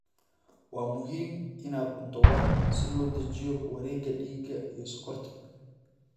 Waa muhiim inaad cunto wax si loo dejiyo wareegga dhiigga iyo sonkorta.